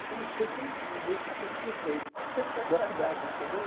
Eu só não estudei com ninguém que fosse prefeito da cidade, entendeu?